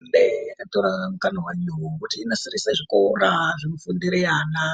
....mende yakatora mukana wayo wokuti inasirise zvikora zvinofundire ana.